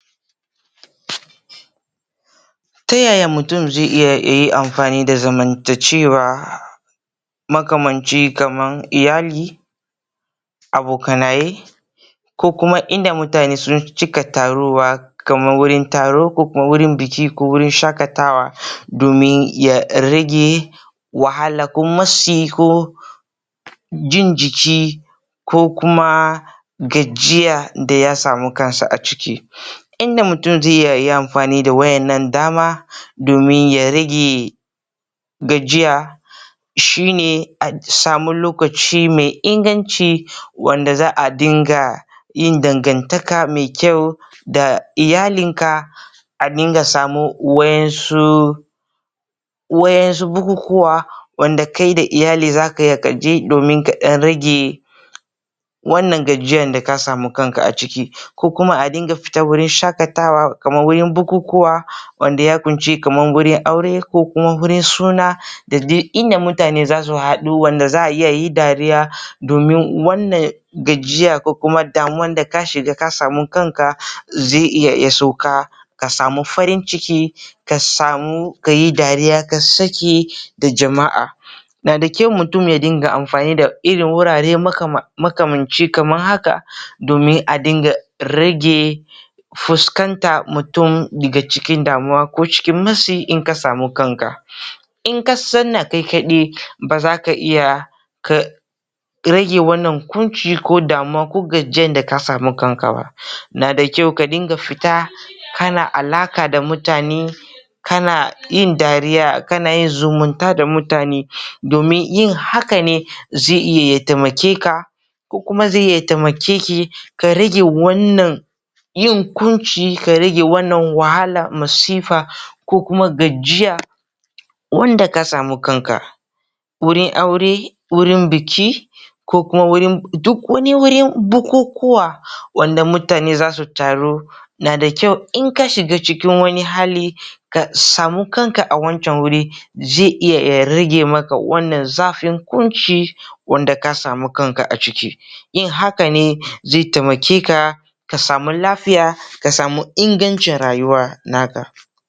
Ta yaya mutum zai iya yayi amfani da zamantakewa makamanci kaman iyali abokanai koh kuma inda mutane keh taruwa kaman wurin taro koh wurin bikin koh wurin shakata wa domin ya rage wahala koh matsi koh jin jiki ko kuma kuma gajiya daya samu kansa a ciki ya samu kanshi a ciki,, inda mutum zai yi amfani da wannan dama domin ya rage gajiya shine a samu lokaci mai inganci wanda za'a dinga yin dangantaka mai kyau da iyalinka a dinga samun wadansu wa'insu bukukuwa wanda kai da iyali zakuje domin kadan rage wannan gajiya da ka samu kanka a ciki ko kuma a dinga fita wurin shakatawa kamar bukukuwa wanda ya kunshi kaman aure koh suna da inda mutane zasu hadu ayi aure da zaayi dariya domin wannan gajiya kokuma damuwa da kasamu kanka. zai iya ya sauka kasamu farin ciki ka samu kayi dariya ka sake da jama'a. Nada kyau mutum ya dinga amfani da wurare makamanci kaman haka domin adinga rage fuskantan mutum daga cikin damuwa koh cikin matsi da kanka, in ka zauna kai kadai bazaka iya ka rage wannan kunci koh damuwa koh gajiya da ka samu kanka ba Nada kyau ka dinga fita kana alaka da mutane kana yin dariya kana yin zumunta da mutane domin yin hakane zai iya ya taimakeka koh kuma zai iya ya taimakeki ka rage wannan yin kunci ka rage wannan wahala masifa koh kuma gajiya wanda ka samu kanka wurin aure wurin biki koh kuma duk wani wurin bukukuwa wanda mutane zasu taru wanda mutane zasu taru nada kyau in ka shiga wani hali ka samu kanka a wancan wuri zai iya ya rage maka wannan zafin kunci wanda kasamu kanka a ciki yin haka ne zai taimake ka ka samu lafiya ka samu ingancin rayuwa naka